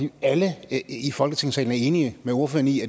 at alle i folketingssalen er enige med ordføreren i